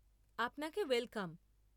আপনাকে ওয়েলকাম।